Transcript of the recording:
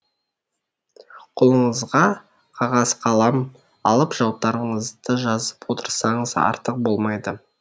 қолыңызға қағаз қалам алып жауаптарыңызды жазып отырсаңыз артық болмайды